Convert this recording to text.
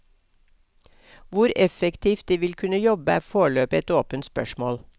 Hvor effektivt de vil kunne jobbe er foreløpig et åpent spørsmål.